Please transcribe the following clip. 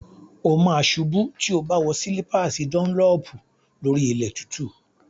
O ma ṣubú tí o bá wọ slípàsì dọ́nlọ̀pù lórí ilẹ̀ tútù.